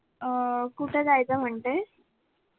अह कुठं जायचं म्हणतेस?